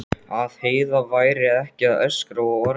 Að Heiða væri ekki að öskra og orga.